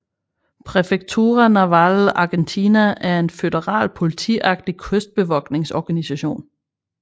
Prefectura Naval Argentina er en føderal politiagtig kystbevogtningsorganisation